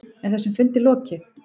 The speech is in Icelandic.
Er þessum fundi lokið?